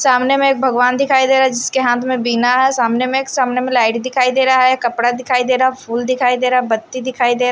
चामने में एक भगवान दिखाई दे रहा है जिसके हाथ में बिना है सामने में एक सामने में लाइट दिखाई दे रहा है कपड़ा दिखाई दे रहा फूल दिखाई दे रहा बत्ती दिखाई दे--